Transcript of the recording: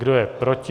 Kdo je proti?